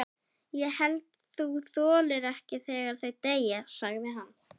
Ég held þú þolir ekki þegar þau deyja, sagði hann.